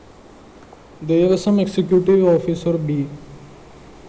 Devaswom executive officer B